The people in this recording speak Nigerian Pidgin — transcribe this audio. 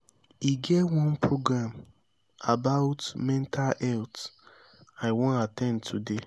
e get one program about mental health i wan at ten d today